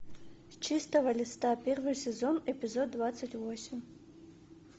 с чистого листа первый сезон эпизод двадцать восемь